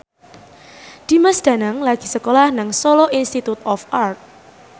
Dimas Danang lagi sekolah nang Solo Institute of Art